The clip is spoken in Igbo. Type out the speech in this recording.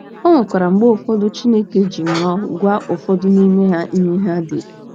O nwekwara mgbe ụfọdụ Chineke ji nrọ gwa ụfọdụ n’ime ha ihe ha dere.